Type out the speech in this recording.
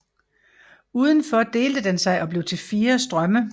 Udenfor delte den sig og blev til fire strømme